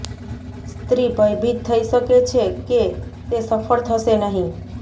સ્ત્રી ભયભીત થઈ શકે છે કે તે સફળ થશે નહીં